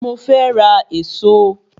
Mo fé ra Ẹ̀ẹ̀so